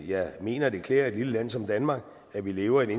jeg mener at det klæder et lille land som danmark at vi lever i